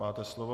Máte slovo.